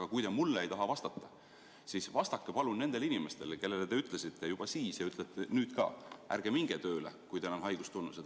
Aga kui te mulle ei taha vastata, siis vastake palun nendele inimestele, kellele te ütlesite juba siis ja ütlete nüüd ka: ärge minge tööle, kui teil on haigustunnused.